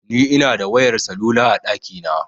Ni Ina da wayar salula a ɗakina